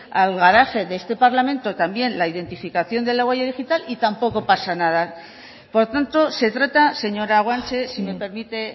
al garaje de este parlamento la identificación de la huella digital y tampoco pasa nada por tanto se trata señora guanche si me permite